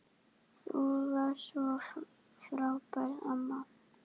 Þú varst svo frábær amma.